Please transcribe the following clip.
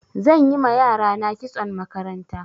Zan yi ma yarana kitson makaranta.